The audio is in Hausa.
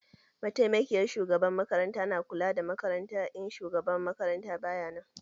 Mataimakin shugaban makaranta na kula da makaranta in shugaban makaranta baya nan.